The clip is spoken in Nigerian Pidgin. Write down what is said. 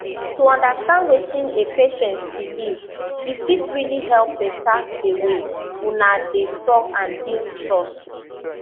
to understand wetin a patient believe e fit really help better the way una dey talk and build trust